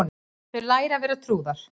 Þau læra að vera trúðar